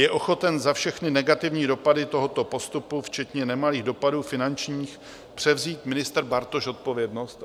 Je ochoten za všechny negativní dopady tohoto postupu včetně nemalých dopadů finančních převzít ministr Bartoš odpovědnost?